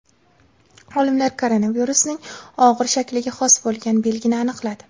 Olimlar koronavirusning og‘ir shakliga xos bo‘lgan belgini aniqladi.